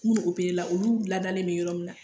N'u la olu ladalen bɛ yɔrɔ min na